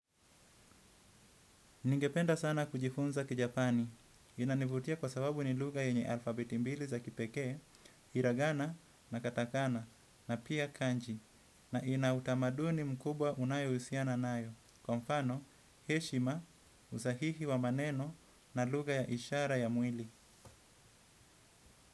Ningependa sana kujifunza kijapani, inanivutia kwa sababu ni lugha yenye alfabeti mbili za kipekee, iragana, na katakana na pia kanji, na ina utamaduni mkubwa unayohusiana nayo, kwa mfano, heshima, usahihi wa maneno na lugha ya ishara ya mwili.